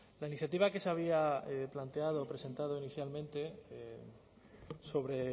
la iniciativa que se había planteado o presentado inicialmente sobre